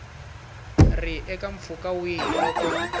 ri eka mpfhuka wihi loko